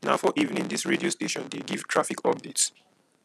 na for evening dis radio station dey give traffic update